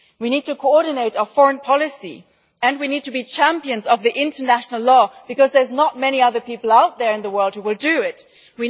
We need to coordinate our foreign policy and we need to be champions of international law because there are not many other people out there in the world who will do so.